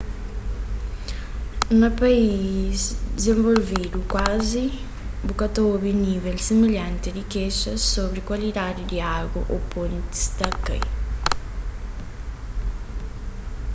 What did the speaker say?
na país dizenvolvidu kuazi bu ka ta obi nível similhanti di kexas sobri kualidadi di agu ô pontis ta kai